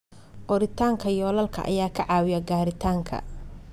Qoritaanka yoolalka ayaa ka caawiya gaaritaanka.